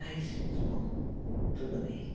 Aí eu disse, bom tudo bem.